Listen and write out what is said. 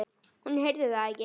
Hún heyrði það ekki.